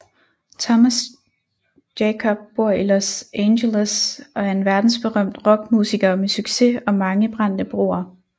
Thomas Jacob bor i Los Angeles og er en verdensberømt rockmusiker med succes og mange brændte broer